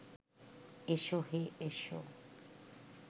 এসো হে এসো